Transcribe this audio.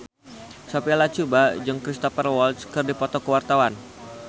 Sophia Latjuba jeung Cristhoper Waltz keur dipoto ku wartawan